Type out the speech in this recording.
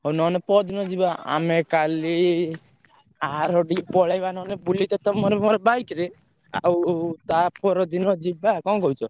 ହଉ ନହେଲେ ପରଦିନ ଯିବା ଆମେ କାଲି ଆରଡି ପଳେଇବା ନହେଲେ ବୁଲିତେ ତମର ମୋର bike ରେ। ଆଉ ତା ପରଦିନ ଯିବା କଣ କହୁଛ?